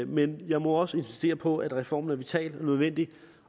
men jeg må også insistere på at reformen er vital og nødvendig